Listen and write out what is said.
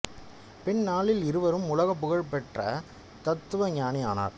பின் நாளில் இவரும் உலக புகழ் பெற்ற தத்துவஞானி ஆனார்